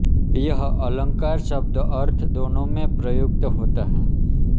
यह अलंकार शब्द अर्थ दोनो में प्रयुक्त होता हैं